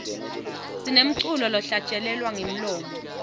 sinemculo lohlatjelelwa ngemlomo